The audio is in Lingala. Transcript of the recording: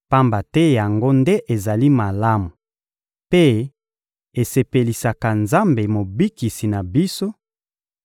Pamba te yango nde ezali malamu mpe esepelisaka Nzambe Mobikisi na biso,